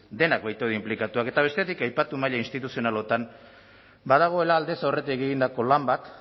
denak baitaude inplikatuak eta bestetik aipatu maila instituzionalotan badagoela aldez aurretik egindako lan bat